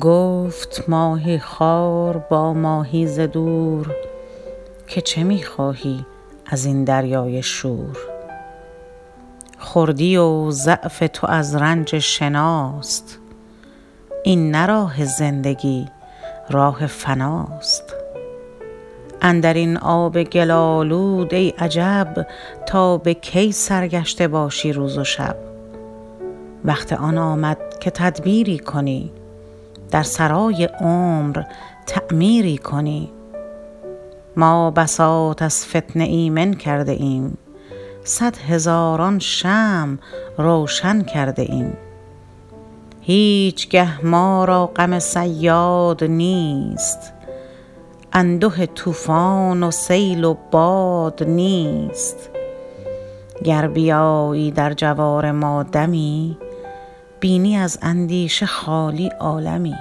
گفت ماهیخوار با ماهی ز دور که چه میخواهی ازین دریای شور خردی و ضعف تو از رنج شناست این نه راه زندگی راه فناست اندرین آب گل آلود ای عجب تا بکی سرگشته باشی روز و شب وقت آن آمد که تدبیری کنی در سرای عمر تعمیری کنی ما بساط از فتنه ایمن کرده ایم صد هزاران شمع روشن کرده ایم هیچگه ما را غم صیاد نیست انده طوفان و سیل و باد نیست گر بیایی در جوار ما دمی بینی از اندیشه خالی عالمی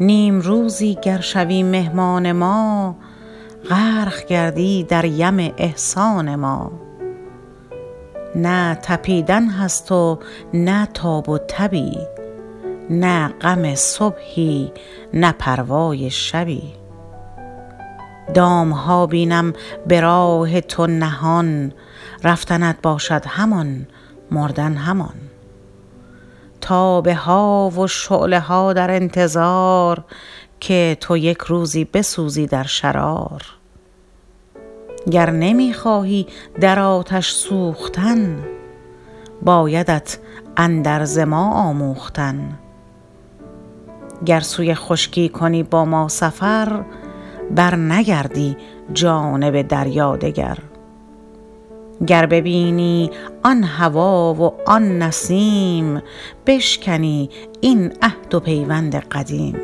نیمروزی گر شوی مهمان ما غرق گردی در یم احسان ما نه تپیدن هست و نه تاب و تبی نه غم صبحی نه پروای شبی دامها بینم براه تو نهان رفتنت باشد همان مردن همان تابه ها و شعله ها در انتظار که تو یکروزی بسوزی در شرار گر نمی خواهی در آتش سوختن بایدت اندرز ما آموختن گر سوی خشکی کنی با ما سفر بر نگردی جانب دریا دگر گر ببینی آن هوا و آن نسیم بشکنی این عهد و پیوند قدیم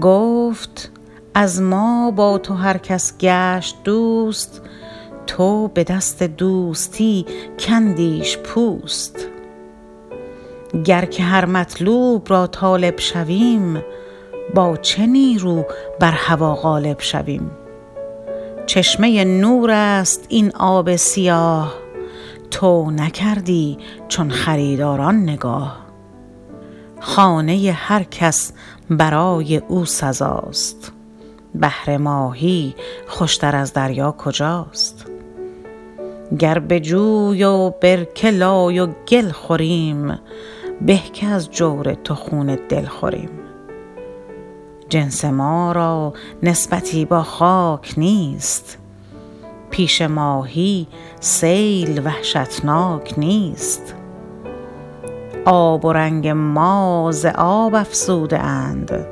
گفت از ما با تو هر کس گشت دوست تو بدست دوستی کندیش پوست گر که هر مطلوب را طالب شویم با چه نیرو بر هوی غالب شویم چشمه نور است این آب سیاه تو نکردی چون خریداران نگاه خانه هر کس برای او سزاست بهر ماهی خوشتر از دریا کجاست گر بجوی و برکه لای و گل خوریم به که از جور تو خون دل خوریم جنس ما را نسبتی با خاک نیست پیش ماهی سیل وحشتناک نیست آب و رنگ ما ز آب افزوده اند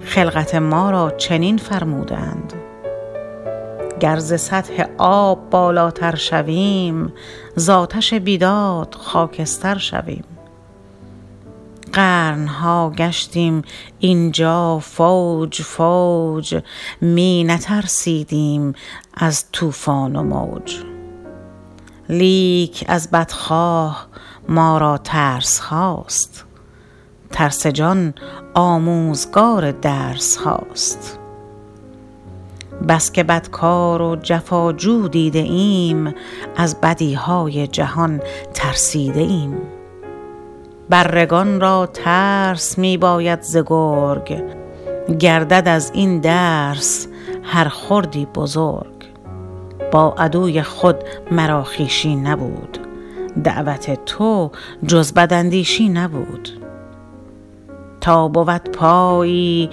خلقت ما را چنین فرموده اند گر ز سطح آب بالاتر شویم زاتش بیداد خاکستر شویم قرنها گشتیم اینجا فوج فوج می نترسیدیم از طوفان و موج لیک از بدخواه ما را ترسهاست ترس جان آموزگار درسهاست بسکه بدکار و جفا جو دیده ام از بدیهای جهان ترسیده ایم بره گان را ترس میباید ز گرگ گردد از این درس هر خردی بزرگ با عدوی خود مرا خویشی نبود دعوت تو جز بداندیشی نبود تا بود پایی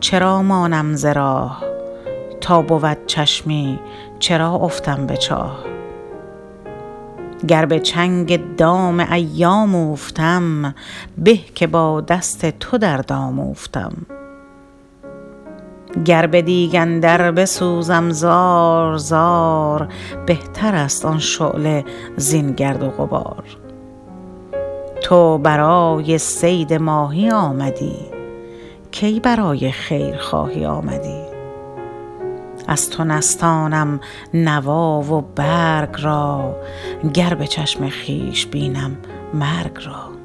چرا مانم ز راه تا بود چشمی چرا افتم به چاه گر بچنگ دام ایام اوفتم به که با دست تو در دام اوفتم گر بدیگ اندر بسوزم زار زار بهتر است آن شعله زین گرد و غبار تو برای صید ماهی آمدی کی برای خیر خواهی آمدی از تو نستانم نوا و برگ را گر بچشم خویش بینم مرگ را